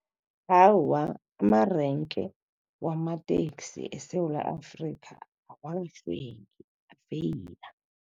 Awa, amarenke wamateksi eSewula Afrika afeyila.